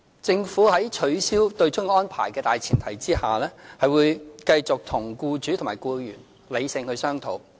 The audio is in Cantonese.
政府會在取消對沖安排的大前提下，繼續與僱主和僱員理性商討。